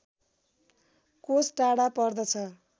कोष टाढा पर्दछ